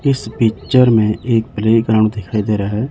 इस पिक्चर में एक प्ले ग्राउंड दिखाई दे रहा है।